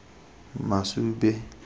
masube